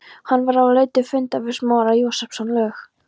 Hann var á leið til fundar við Smára Jósepsson, lög